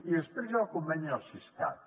i després hi ha el conveni el siscat